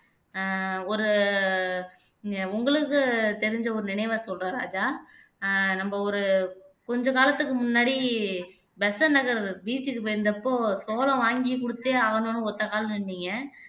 ஆஹ் ஒரு உங்களுக்குத் தெரிஞ்ச ஒரு நினைவைச் சொல்றேன் ராஜா அஹ் நம்ம ஒரு கொஞ்ச காலத்துக்கு முன்னாடி பெசன்ட் நகர் beach க்கு போயிருந்தப்போ சோளம் வாங்கி கொடுத்தே ஆகணும்ன்னு ஒத்த கால்ல நின்னீங்க